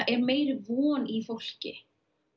meiri von í fólki